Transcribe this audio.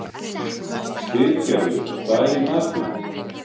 Styrgerður, hvað er í matinn?